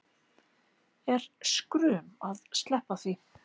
Er skrum að sleppa því